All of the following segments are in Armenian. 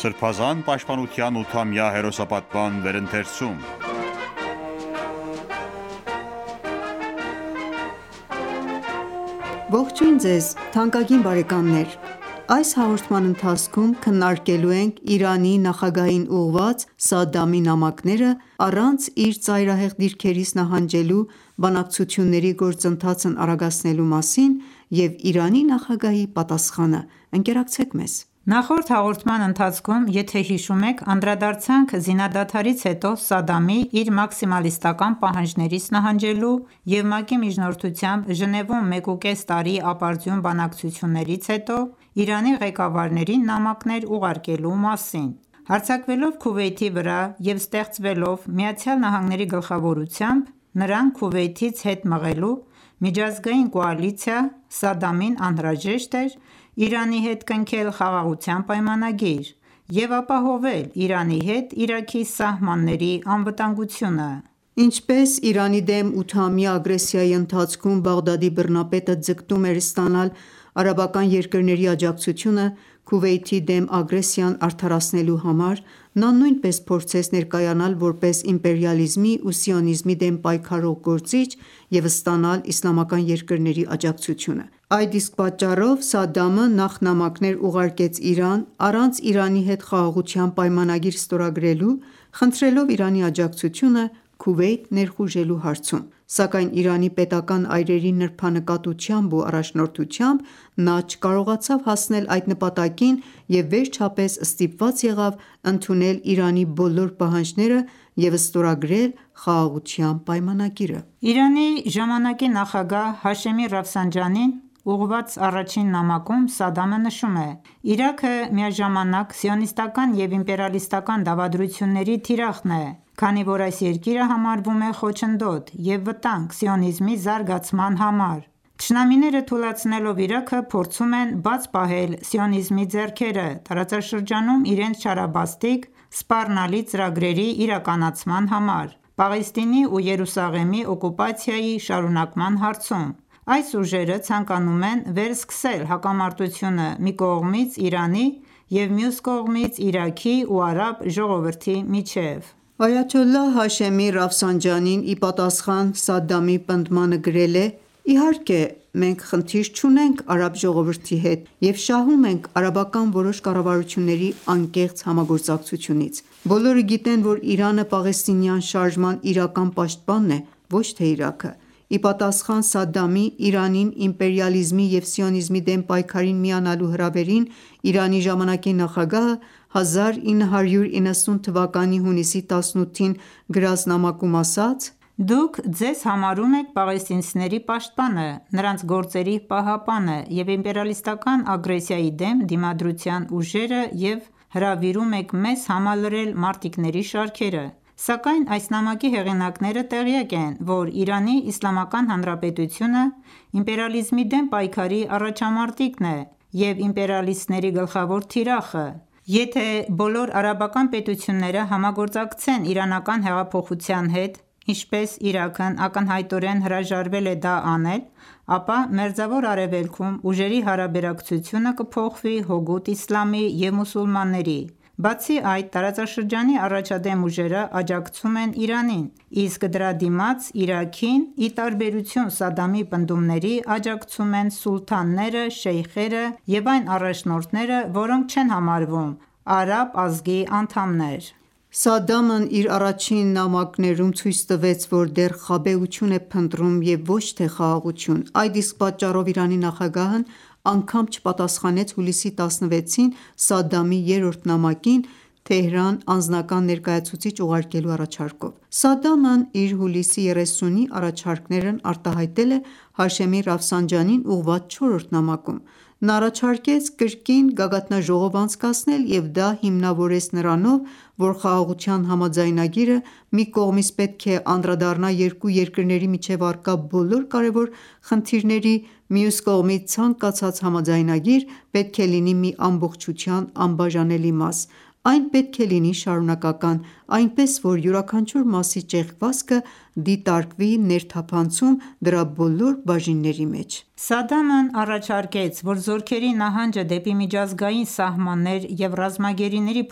Սրբազան պաշտպանության 8-ամյա հերոսապատման վերընթերցում (110) Ողջույն ձեզ թանկագին բարեկամներ: Այս հաղորդման ընթացքում քննարկելու ենք Իրանի նախագահին ուղղված Սադամի նամակները՝ առանց իր ծայրահեղ դիրքերից նահանջելու՝ բանակցությունների գործընթացն արագացնելու մասին, և Իրանի նախագահի պատասխանը։ Նախորդ հաղորդման ընթացքում եթե հիշում եք անդրադարձանք զինադադարից հետո Սադամի՝ իր մաքսիմալիստական պահանջներից նահանջելու և ՄԱԿ-ի միջնորդությամբ Ժնևում մեկուկես տարի ապարդյուն բանակցություններից հետո Իրանի ղեկավարներին նամակներ ուղարկելու մասին։ Հարձակվելով Քուվեյթի վրա և ստեղծվելով ԱՄՆ-ի գլխավորությամբ, նրան Քուվեյթից հետ մղելու, միջազգային կոալիցիա՝ Սադամին անհրաժեշտ էր Իրանի հետ կնքել խաղաղության պայմանագիր և ապահովել Իրանի հետ Իրաքի սահմանների անվտանգությունը: Ինչպես Իրանի դեմ ութամյա ագրեսիայի ընթացքում Բաղդադի բռնապետը ձգտում էր ստանալ արաբական երկրների աջակցությունը՝ Քուվեյթի դեմ ագրեսիան արդարացնելու համար, նա նույնպես փորձեց ներկայանալ որպես իմպերիալիզմի ու սիոնիզմի դեմ պայքարող գործիչ և ստանալ իսլամական երկրների աջակցությունը։ Այդ իսկ պատճառով Սադդամը նախ նամակներ ուղարկեց Իրան՝ առանց Իրանի հետ խաղաղության պայմանագիր ստորագրելու՝ խնդրելով Իրանի աջակցությունը Քուվեյթ ներխուժելու հարցում: Սակայն Իրանի պետական այրերի նրբանկատությամբ ու առաջնորդությամբ նա չկարողացավ հասնել այդ նպատակին և վերջապես ստիպված եղավ ընդունել Իրանի բոլոր պահանջները և ստորագրել խաղաղության պայմանագիրը։ Իրանի ժամանակի նախագահ Հաշեմի Ռաֆսանջանիին ուղղված առաջին նամակում Սադամը նշում է.«Իրաքը միաժամանակ սիոնիստական և իմպերիալիստական դավադրությունների թիրախն է, քանի որ այս երկիրը համարվում է խոչընդոտ և վտանգ սիոնիզմի զարգացման համար։ Թշնամիները, թուլացնելով Իրաքը, փորձում են բաց պահել սիոնիզմի ձեռքերը տարածաշրջանում իրենց չարաբաստիկ սպառնալի ծրագրերի իրականացման համար՝ Պաղեստինի ու Երուսաղեմի օկուպացիայի շարունակման հարցում։ Այս ուժերը ցանկանում են վերսկսել հակամարտությունը մի կողմից Իրանի և մյուս կողմից՝ Իրաքի ու արաբ ժողովրդի միջև»: Այաթոլլահ Հաշեմի Ռաֆսանջանին ի պատասխան Սադամի պնդմանը գրել է.«Իհարկե, մենք խնդիր չունենք արաբ ժողովրդի հետ և շահում ենք արաբական որոշ կառավարությունների անկեղծ համագործակցությունից... Բոլորը գիտեն, որ Իրանը պաղեստինյան շարժման իրական պաշտպանն է, ոչ թե Իրաքը»։ Ի պատասխան Սադամի՝ Իրանին իմպերիալիզմի և սիոնիզմի դեմ պայքարին միանալու հրավերին, Իրանի ժամանակի նախագահը 1990 թվականի հունիսի 18-ին գրած նամակում ասաց.«Դուք ձեզ համարում եք պաղեստինցիների պաշտպանը, նրանց գործերի պահապանը և իմպերիալիստական ագրեսիայի դեմ դիմադրության ուժերը և հրավիրում եք մեզ համալրել մարտիկների շարքերը, սակայն այս նամակի հեղինակները տեղյակ են, որ Իրանի Իսլամական Հանրապետությունը իմպերիալիզմի դեմ պայքարի առաջամարտիկն է և իմպերիալիստների գլխավոր թիրախը... Եթե բոլոր արաբական պետությունները համագործակցեն իրանական հեղափոխության հետ, ապա Մերձավոր Արևելքում ուժերի հարաբերակցությունը կփոխվի հօգուտ իսլամի և մուսուլմանների: Բացի այդ, տարածաշրջանի առաջադեմ ուժերը աջակցում են Իրանին, իսկ դրա դիմաց Իրաքին, ի տարբերություն Սադամի պնդումների, աջակցում են սուլթանները, շեյխերը և այն առաջնորդները, որոնք չեն համարվում արաբ ազգի անդամներ»։ Սադամն իր առաջին նամակներում ցույց տվեց, որ դեռ խաբեություն է փնտրում և ոչ թե խաղաղություն, այդ իսկ պատճառով Իրանի նախագահն անգամ չպատասխանեց հուլիսի 16-ին Սադամի երրորդ նամակին՝ Թեհրան անձնական ներկայացուցիչ ուղարկելու առաջարկով։ Սադամն իր հուլիսի 30-ի առաջարկներն արտահայտել է Հաշեմի Ռաֆսանջանիին ուղղված չորրորդ նամակում։ Նա առաջարկեց կրկին գագաթնաժողով անցկացնել և դա հիմնավորեց նրանով, որ խաղաղության համաձայնագիրը մի կողմից պետք է անդրադառնա երկու երկրների միջև առկա բոլոր կարևոր խնդիրների, մյուս կողմից՝ ցանկացած համաձայնագիր պետք է լինի մի ամբողջության անբաժանելի մաս, այն պետք է լինի շարունակական, այնպես, որ յուրաքանչյուր մասի ճեղքվածքը, դիտարկվի ներթափնցում դրա բոլոր բաժինների մեջ։ Սադամն առաջարկեց, որ զորքերի նահանջը դեպի միջազգային սահմաններ և ռազմագերիների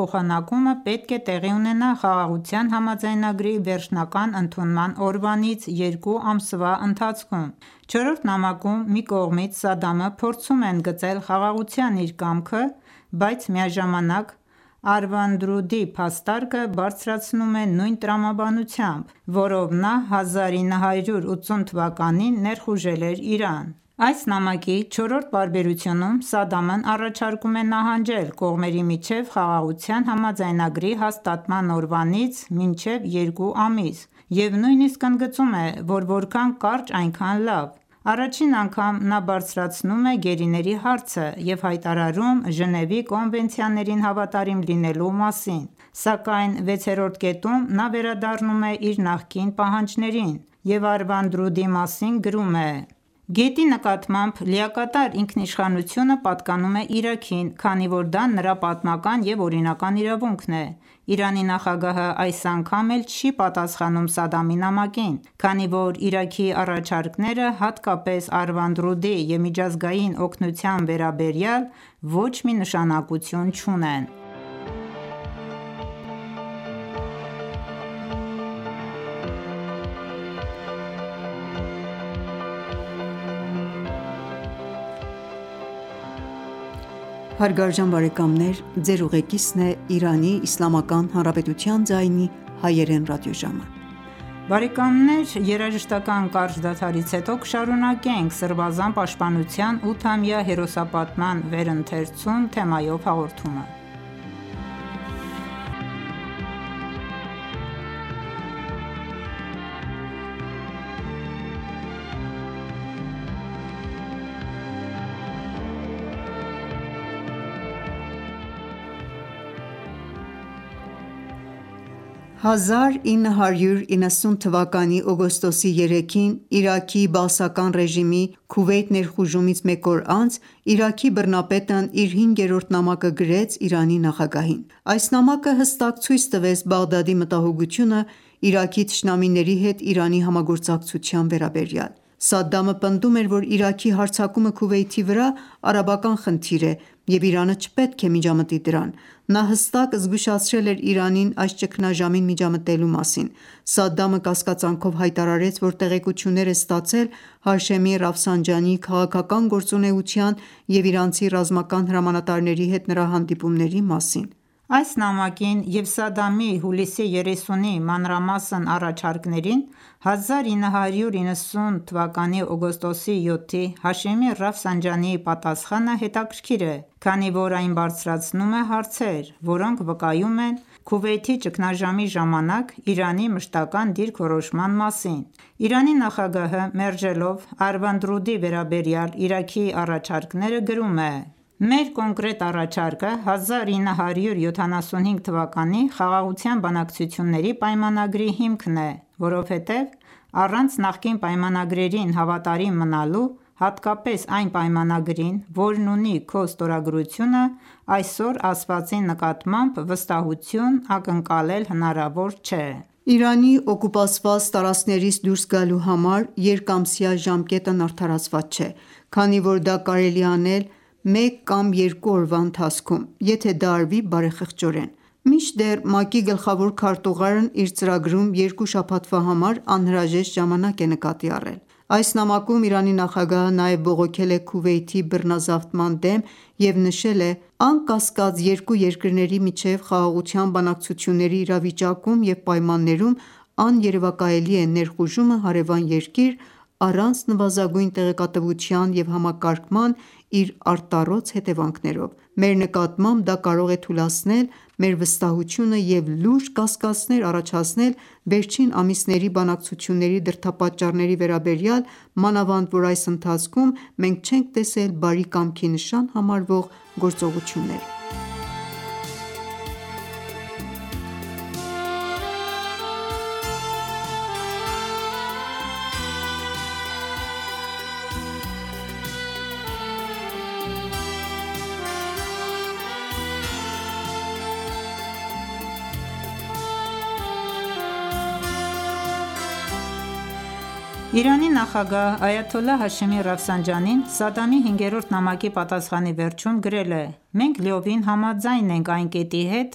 փոխանակումը պետք է տեղի ունենա խաղաղության համաձայնագրի վերջնական ընդունման օրվանից երկու ամսվա ընթացքում։ Չորրորդ նամակում, մի կողմից, Սադդամը փորձում է ընդգծել խաղաղության իր կամքը, բայց միաժամանակ Արվանդրուդի փաստարկը բարձրացնում է նույն տրամաբանությամբ, որով նա 1980 թվականին ներխուժել էր Իրան։ Այս նամակի չորրորդ պարբերությունում Սադամն առաջարկում է նահանջել կողմերի միջև խաղաղության համաձայնագրի հաստատման օրվանից մինչև երկու ամիս և նույնիսկ ընդգծում է, որ որքան կարճ, այնքան լավ։ Առաջին անգամ նա բարձրացնում է գերիների հարցը և հայտարարում Ժնևի կոնվենցիաներին հավատարիմ լինելու մասին։ Սակայն վեցերորդ կետում նա վերադառնում է իր նախկին պահանջներին և Արվանդրուդի մասին գրում է.«Գետի նկատմամբ լիակատար ինքնիշխանությունը պատկանում է Իրաքին, քանի որ դա նրա պատմական և օրինական իրավունքն է»։ Իրանի նախագահը այս անգամ էլ չի պատասխանում Սադամի նամակին, քանի որ Իրաքի առաջարկները հատկապես Արվանդռուդի և միջազգային օգնության վերաբերյալ ոչ մի նշանակություն չունեն։ 1990 թվականի օգոստոսի 3-ին, Իրաքի բաասական ռեժիմի Քուվեյթ ներխուժումից մեկ օր անց, Իրաքի բռնապետն իր հինգերորդ նամակը գրեց Իրանի նախագահին։ Այս նամակը հստակ ցույց տվեց Բաղդադի մտահոգությունը Իրաքի թշնամիների հետ Իրանի համագործակցության վերաբերյալ։ Սադամը պնդում էր, որ Իրաքի հարձակումը Քուվեյթի վրա արաբական խնդիր է, և Իրանը չպետք է միջամտի դրան։ Նա հստակ զգուշացրել էր Իրանին այս ճգնաժամին միջամտելու մասին։ Սադամը կասկածանքով հայտարարեց, որ տեղեկություններ է ստացել Հաշեմի Ռաֆսանջանիի քաղաքական գործունեության և իրանցի ռազմական հրամանատարների հետ նրա հանդիպումների մասին։ Այս նամակին և Սադամի հուլիսի 30-ի մանրամասն առաջարկներին 1990 թվականի օգոստոսի 7-ի Հաշեմի Ռաֆսանջանիի պատասխանը հետաքրքիր է, քանի որ այն բարձրացնում է հարցեր, որոնք վկայում են Քուվեյթի ճգնաժամի ժամանակ Իրանի մշտական դիրքորոշման մասին: Իրանի նախագահը, մերժելով Արվանդռուդի վերաբերյալ Իրաքի առաջարկները, գրում է. «Մեր կոնկրետ առաջարկը 1975 թվականի խաղաղության բանակցությունների պայմանագրի հիմքն է։ Որովհետև առանց նախկին պայմանագրերին հավատարիմ մնալու, հատկապես այն պայմանագրին, որն ունի քո ստորագրությունը, այսօր ասվածի նկատմամբ վստահություն ակնկալել հնարավոր չէ։ Իրանի օկուպացված տարածքներից դուրս գալու համար երկամսյա ժամկետն արդարացված չէ, քանի որ դա կարելի է անել մեկ կամ երկու օրվա ընթացքում, եթե դա արվի բարեխղճորեն: Մինչդեռ ՄԱԿ-ի գլխավոր քարտուղարն իր ծրագրում երկու շաբաթվա համար անհրաժեշտ ժամանակ է նկատի առել»։ Այս նամակում Իրանի նախագահը նաև բողոքել է Քուվեյթի բռնազավթման դեմ և նշել է.«Անկասկած, երկու երկրների միջև խաղաղության բանակցությունների իրավիճակում և պայմաններում աներևակայելի է ներխուժումը հարևան երկիր՝ առանց նվազագույն տեղեկատվության և համակարգման՝ իր արտառոց հետևանքներով։ Մեր նկատմամբ դա կարող է թուլացնել մեր վստահությունը և լուրջ կասկածներ առաջացնել վերջին ամիսների բանակցությունների դրդապատճառների վերաբերյալ, մանավանդ որ այս ընթացքում մենք չենք տեսել բարի կամքի նշան համարվող գործողություններ»։ Իրանի նախագահ Այաթոլլա Հաշեմի Ռաֆսանջանին Սադամի հինգերորդ նամակի պատասխանի վերջում գրել է.«Մենք լիովին համաձայն ենք այն կետի հետ,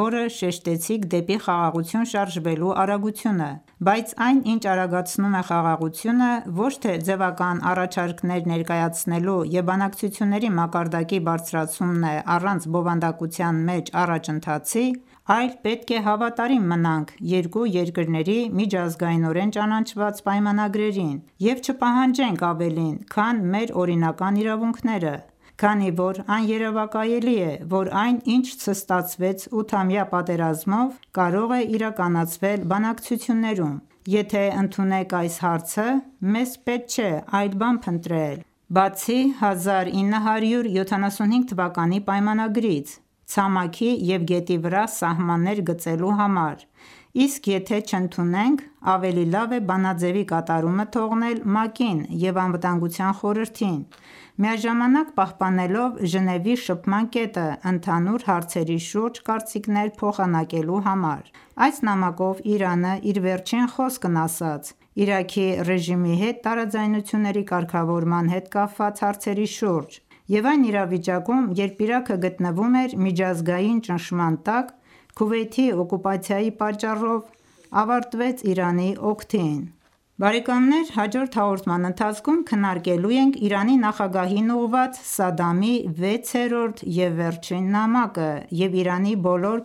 որը շեշտեցիք դեպի խաղաղություն շարժվելու արագությունը, բայց այն, ինչ արագացնում է խաղաղությունը, ոչ թե ձևական առաջարկներ ներկայացնելու և բանակցությունների մակարդակի բարձրացումն է առանց բովանդակության մեջ առաջընթացի, այլ պետք է հավատարիմ մնանք երկու երկրների միջազգայնորեն ճանաչված պայմանագրերին և չպահանջենք ավելին, քան մեր օրինական իրավունքները, քանի որ աներևակայելի է, որ այն, ինչ չստացվեց ութամյա պատերազմով, կարող է իրականացվել բանակցություններում։ Եթե ընդունենք այս հարցը, մեզ պետք չէ այլ բան փնտրել, բացի 1975 թվականի պայմանագրից՝ ցամաքի և գետի վրա սահմաններ գծելու համար, իսկ եթե չընդունենք, ավելի լավ է բանաձեւի կատարումը թողնել ՄԱԿ-ին և Անվտանգության խորհրդին՝ միաժամանակ պահպանելով Ժնևի շփման կետը՝ ընդհանուր հարցերի շուրջ կարծիքներ փոխանակելու համար»: Այս նամակով Իրանը իր վերջին խոսքն ասաց Իրաքի ռեժիմի հետ տարաձայնությունների կարգավորման հետ կապված հարցերի շուրջ, և այն իրավիճակում, երբ Իրաքը գտնվում էր միջազգային ճնշման տակ Քուվեյթի օկուպացիայի պատճառով, ավարտվեց Իրանի օգտին։ Հաջորդ հաղորդման ընթացքում քննարկելու ենք Իրանի նախագահին ուղղված Սադամի վեցերորդ և վերջին նամակը և Իրանի բոլոր